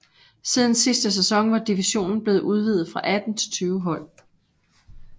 Siden sidste sæson var divisionen blevet udvidet fra 18 til 20 hold